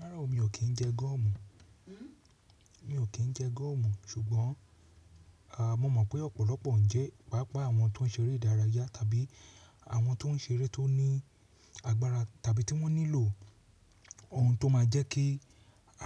Rárá o, mi ò kí ń jẹ gọ́ọ̀mù. Mi ò kí ń jẹ gọ́ọ̀mù ṣùgbọ́n, aà, mo mọ̀ pé ọ̀pọ̀lọpọ̀ ń jẹ, pàápàá àwọn tó ń ṣeré ìdárayá tàbí àwọn tó ń ṣeré tó ní agbára tàbí tí wọ́n nílò ohun tó máa jẹ́ kí